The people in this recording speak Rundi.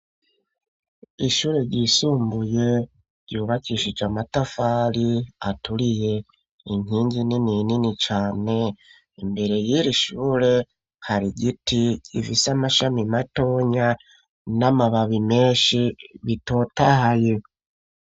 Ishure ryisumbuye ryubakishije amatafali aturiye inkinzu inini inini cane imbere yiri ishure hari giti ivisa amashami matonya n'amababi menshi bitotahaye.